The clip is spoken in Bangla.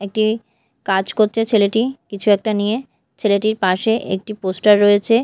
একটি কাজ করছে ছেলেটি কিছু একটা নিয়ে ছেলেটির পাশে একটি পোস্টার রয়েছে।